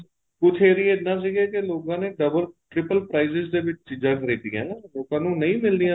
ਕੁੱਝ ਏਰੀਏ ਇਹਦਾ ਸੀਗੇ ਕੀ ਲੋਕਾਂ ਨੇ double triple prices ਦੇ ਵਿੱਚ ਚੀਜ਼ਾਂ ਖਰੀਦੀਆਂ ਏ ਲੋਕਾਂ ਨੂੰ ਨਹੀਂ ਮਿਲ ਰਹੀਆਂ